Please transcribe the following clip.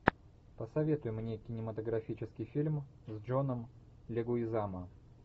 посоветуй мне кинематографический фильм с джоном легуизамо